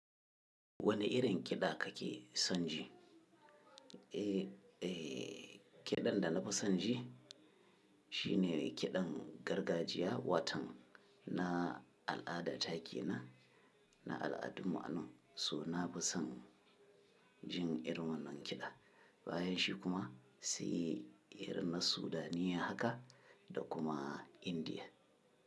Wane irin kiɗa kake son ji? Eh, eh, kiɗan da na fi son ji shine kiɗan gargajiya, watan na al'ada take na, na al'adun mu'annu. So na fi son jin irin wannan kiɗa. Bayanshi kuma sai irin na Sudanniya haka da kuma Indiya.